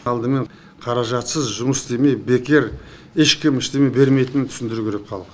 алдымен қаражатсыз жұмыс істемей бекер ешкім ештеңе бермейтінін түсіндіру керек халыққа